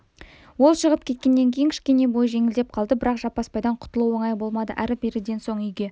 ол шығып кеткеннен кейін кішкене бойы жеңілдеп қалды бірақ жаппасбайдан құтылу оңай болмады әрі-беріден соң үйге